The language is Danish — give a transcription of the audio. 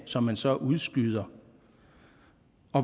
som man så udskyder